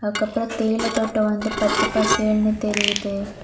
அதுக்கப்பரோ தேயிலை தோட்டோ வந்து பச்ச பசேல்னு தெரியுது.